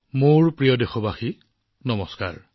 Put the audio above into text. মোৰ মৰমৰ দেশবাসীসকল নমস্কাৰ